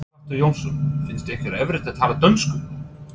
Sighvatur Jónsson: Finnst ykkur erfitt að tala dönsku?